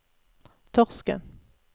Torsken